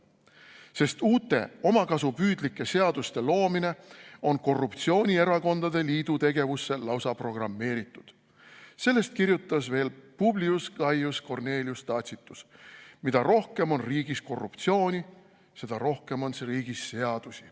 Sest uute omakasupüüdlike seaduste loomine on korruptsioonierakondade liidu tegevusse lausa programmeeritud, sellest kirjutas veel Publius Cornelius Tacitus: "Mida rohkem on riigis korruptsiooni, seda rohkem on riigis seadusi."